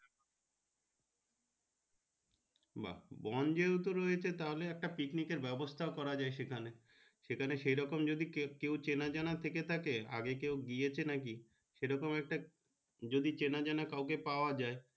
বা বন তাহলে একটা picnic এর ব্যাবস্তা করা যাই এখানে সেখানে সেই রকম চান জানা থেকে থাকে আগে কেউ গিয়েছে নাকি সেই রকম একটা চেনা জানা পাওয়া যাই